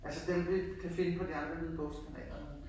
Altså dem vi kan finde på de andre lydbogskanaler